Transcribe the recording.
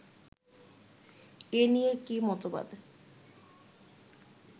এ নিয়ে কী মতবাদ